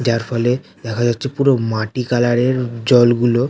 যার ফলে দেখা যাচ্ছে পুরো মাটি কালার এর জল গুলো।